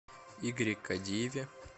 игоре кадиеве